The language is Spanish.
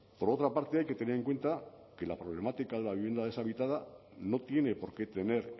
por otra parte hay que tener en cuenta que la problemática de la vivienda deshabitada no tiene por qué tener